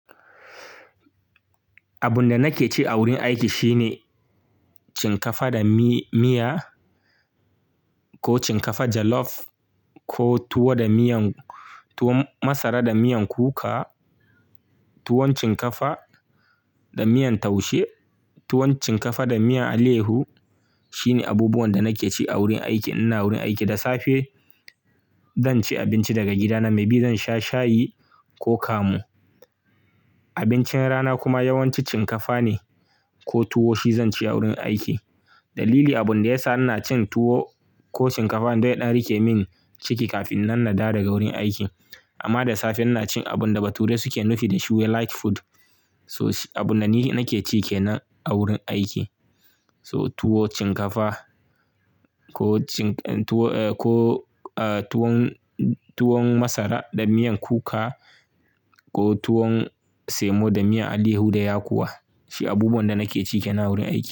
Abun da nake ci a wurin aiki shine cin kafa da mi-miya ko cin kafa jollof ko tuwo da miyan tuwon masara da miyan kuka, tuwon cin kafa da miyan taushe, tuwon cin kafa da miyan aleyahu shine abubuwan da nake ci a wurin aiki. Ina wurin aiki da safe zan ci abinci daga gida na. Mai bi zan sha shayi ko kamu. Abincin rana kuma yawanci cin kafa ne ko tuwo shi zan ci a wurin aiki. Dalili abun da yasa ina cin tuwo ko cin kafa dan ya ɗan yadan rike min ciki kafin nan nadawo daga wurin aiki. Amma da safe ina cin abun da bature suke nufi da "shi wai light food". So abun da ni nake ci kenan a wurin aiki. So tuwo, cin kafa ko cin tuwo, eh ko, eh tuwon, tuwon masara da miyan kuka ko tuwon semo da miyan alayyahu da yakuwa. Shi abubuwan da nake ci kenan wurin aiki.